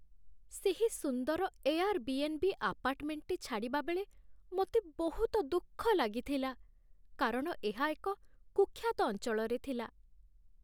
ସେହି ସୁନ୍ଦର ଏୟାର୍ବି.ଏନ୍.ବି. ଆପାର୍ଟମେଣ୍ଟଟି ଛାଡ଼ିବା ବେଳେ ମୋତେ ବହୁତ ଦୁଃଖ ଲାଗିଥିଲା, କାରଣ ଏହା ଏକ କୁଖ୍ୟାତ ଅଞ୍ଚଳରେ ଥିଲା।